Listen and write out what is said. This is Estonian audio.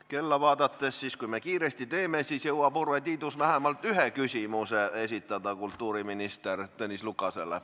Kella vaadates võib öelda, et kui me kiiresti teeme, siis jõuab Urve Tiidus vähemalt ühe küsimuse esitada kultuuriminister Tõnis Lukasele.